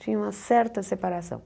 Tinha uma certa separação.